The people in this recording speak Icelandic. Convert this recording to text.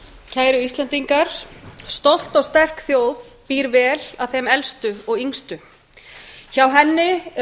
kæru íslendingar stolt og sterk þjóð býr vel að þeim elstu og yngstu hjá henni eru